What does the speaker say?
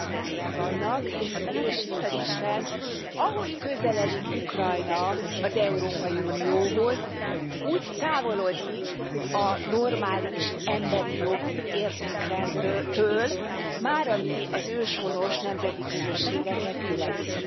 kétszázezren vannak, és mit ad Isten, ahogy közeledik Ukrajna az Európai Unióhoz, úgy távolodik a normális emberi jogi értékrendtől, már ami az őshonos nemzeti közösségeket illeti.